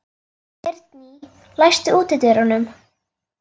Geirný, læstu útidyrunum.